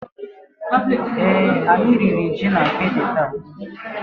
Èé, anyị riri ji na akidi taa.